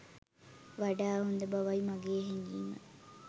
වඩා හොද බවයි මගේ හැගීම.